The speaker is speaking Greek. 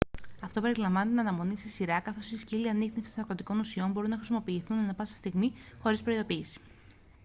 αυτό περιλαμβάνει την αναμονή σε σειρά καθώς οι σκύλοι ανίχνευσης ναρκωτικών ουσιών μπορούν να χρησιμοποιηθούν ανά πάσα στιγμή χωρίς προειδοποίηση